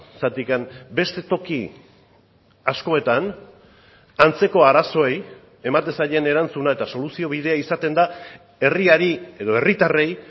zergatik beste toki askotan antzeko arazoei ematen zaien erantzuna eta soluzio bidea izaten da herriari edo herritarrei